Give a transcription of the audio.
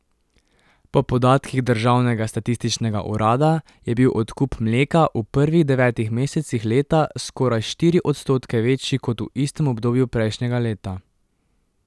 Po podatkih državnega statističnega urada je bil odkup mleka v prvih devetih mesecih leta skoraj štiri odstotke večji kot v istem obdobju prejšnjega leta.